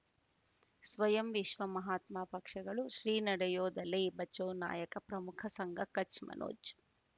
ಸ್ವಯಂ ವಿಶ್ವ ಮಹಾತ್ಮ ಪಕ್ಷಗಳು ಶ್ರೀ ನಡೆಯೂ ದಲೈ ಬಚೌ ನಾಯಕ ಪ್ರಮುಖ ಸಂಘ ಕಚ್ ಮನೋಜ್